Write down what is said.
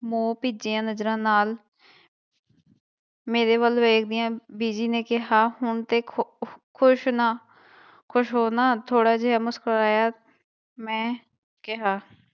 ਮੋਹ ਭਿੱਜੀਆਂ ਨਜ਼ਰਾਂ ਨਾਲ ਮੇਰੇ ਵੱਲ ਵੇਖਦਿਆਂ ਬੀਜੀ ਨੇ ਕਿਹਾ ਹੁਣ ਤੇ ਖ਼ੁ ਖ਼ੁਸ਼ ਹੋ ਨਾ ਥੋੜ੍ਹਾ ਜਿਹਾ ਮੁਸਕਰਾਇਆ ਮੈਂ ਕਿਹਾ